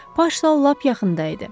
Baş sal lap yaxında idi.